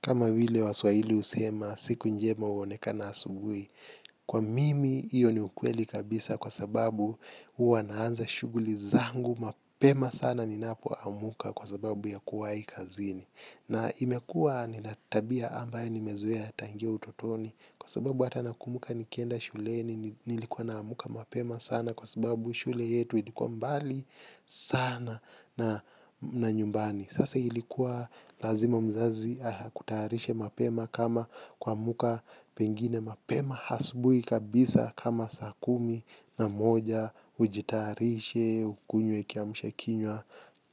Kama vile waswahili husema, siku njema huonekana asubuhi. Kwa mimi, hiyo ni ukweli kabisa kwa sababu huwa naanza shughuli zangu mapema sana ninapoamka kwa sababu ya kuwa hii kazini. Na imekua nina tabia ambaye nimezoea tangia utotoni kwa sababu hata nakumbuka nikienda shule ni nilikuwa naamka mapema sana kwa sababu shule yetu ilikuwa mbali sana na nyumbani. Sasa ilikuwa lazima mzazi akutayarishe mapema kama kuamka pengine mapema asubuhi kabisa kama saa kumi na moja ujitayarishe ukunywe kiamsha kinywa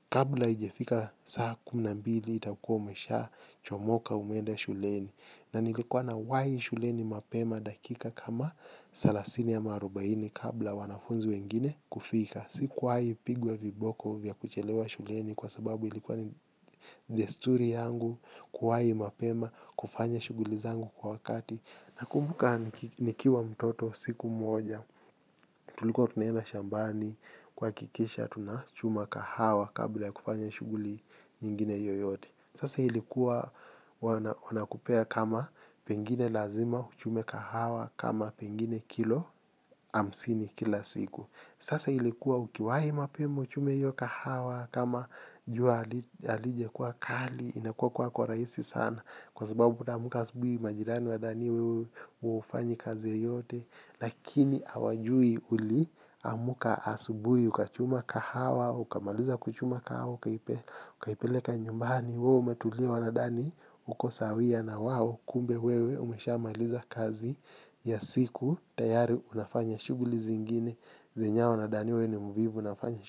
kabla haijafika saa kumi na mbili itakuwa umesha chomoka umeenda shuleni. Na nilikuwa nawahi shuleni mapema dakika kama thelathini ama arubaini kabla wanafunzi wengine kufika. Sikuwahi pigwa viboko vya kuchelewa shuleni kwa sababu ilikuwa ni desturi yangu kuwahi mapema kufanya shughuli zangu kwa wakati. Nakumbuka nikiwa mtoto siku moja tulikuwa tunaenda shambani kuhakikisha tunachuma kahawa kabla kufanya shughuli nyingine yoyote. Sasa ilikuwa wana kupea kama pengine lazima uchume kahawa kama pengine kilo hamsini kila siku. Sasa ilikuwa ukiwahi mapema uchume hiyo kahawa kama jua halijakuwa kali inakuwa kuwa kwa rahisi sana. Kwa sababu unaamka asubuhi majirani wadhanie huyu huwa hufanyi kazi yeyote. Lakini hawajui uliamka asubuhi ukachuma kahawa, ukamaliza kuchuma kahawa, ukaipeleka nyumbani. Wewe umetulia wanadhani uko sawia na wawo. Kumbe wewe umesha maliza kazi ya siku. Tayari unafanya shughuli zingine zenye wao wanadhania wewe ni mvivu unafanya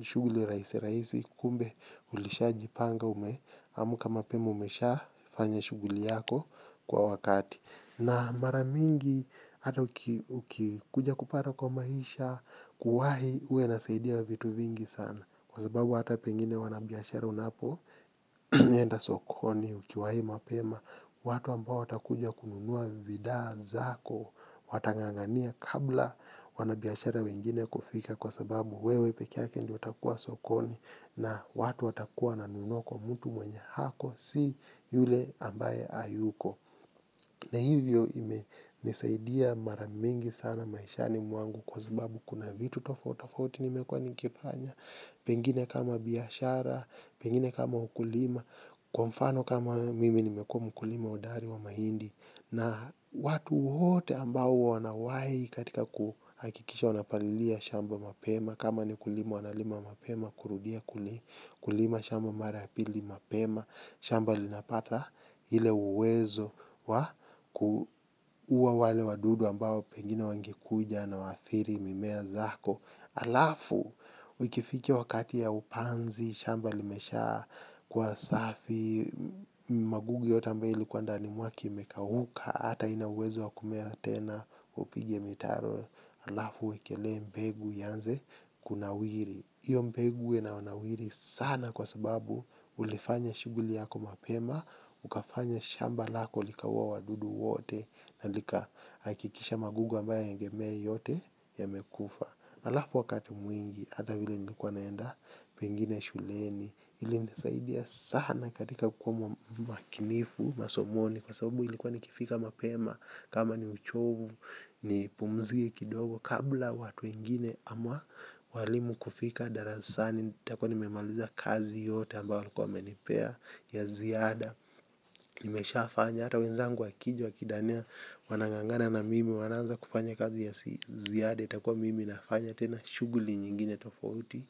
shughuli rahisi rahisi. Kumbe ulishaji panga ume amka mapema umesha fanya shughuli yako kwa wakati. Na mara mingi ata uki kuja kupata kwa maisha kuwahi huwa inasaidia vitu vingi sana kwa sababu hata pengine wanabiashara wanapoenda sokoniukiwahi mapema watu ambao watakuja kununua bidhaa ni zako watangangania kabla wanabiashara wengine kufika kwa sababu wewe pekee yake ndiye utakuwa sokoni na watu watakuwa wananunua kwa mmtu mwenye ako si yule ambaye hayuko na hivyo ime nisaidia mara mingi sana maishani mwangu kwa sababu kuna vitu tofauti tofauti nimekuwa nikifanya pengine kama biashara, pengine kama ukulima, kwa mfano kama mimi nimekuwa mkulima hodari wa mahindi, na watu wote ambao wanawahi katika kuhakikisha wanapalilia shamba mapema, kama ni kulima wanalima mapema, kurudia kulima shamba mara ya pili mapema, shamba linapata ile uwezo wa kuua wale wadudu ambao pengine wangekuja na waathiri mimea zako. Alafu, ikifika wakati ya upanzi, shamba limesha kuwa safi. Magugu yote ambayo ilikuwa ndani mwake imekauka. Ata haina uwezo wa kumea tena upige mitaro. Alafu, uwekelee mbegu ianze kunawiri hiyo mbegu inaonawiri sana kwa sababu ulifanya shughuli yako mapema. Ukafanya shamba lako likawaua wadudu wote. Na likahakikisha magugu ambayo yangemea yote yamekufa. Alafu wakati mwingi, hata vile nilikuwa naenda, pengine shuleni, ili nisaidia sana katika kukua makinifu, masomoni, kwa sababu ilikuwa nikifika mapema, kama ni uchovu, ni pumzii kidogo, kabla watu wengine ama waalimu kufika, darasani, nitakuwa nimemaliza kazi yote ambayo walikuwa wamenipea, ya ziada, nimesha fanya, hata wenzangu wakija wakidhania, wanangangana na mimi, wanaanza kufanya kazi ya ziada, itakuwa mimi nafanya, tena shughuli nyingine tofauti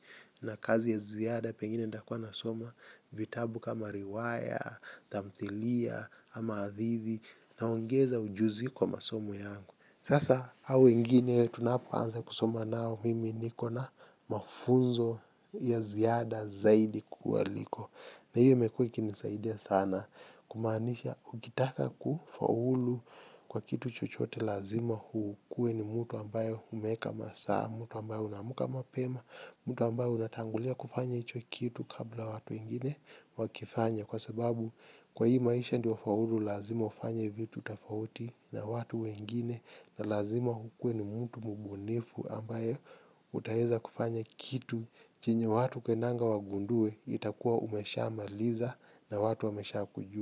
na kazi ya ziada pengine nitakwa na soma vitabu kama riwaya, tamthilia, ama hadithi na ongeza ujuzi kwa masomo yangu sasa hao wengine tunapo anza kusoma nao mimi niko na mafunzo ya ziada zaidi kuwaliko na hiyo imekwe ikinisaidia sana kumaanisha ukitaka kufaulu kwa kitu chochote lazima ukuwe ni mtu ambayo umeweka masaa, mtu ambaye unaamka mapema, mtu ambaye unatangulia kufanya hicho kitu kabla watu wengine wakifanye. Kwa sababu kwa hii maisha ndio faulu, lazima ufanye vitu tofauti na watu wengine, na lazima ukuwe ni mtu mbunifu ambaye utaweza kufanya kitu, chenye watu hupendanga wagundue, itakuwa umesha maliza na watu wamesha kujua.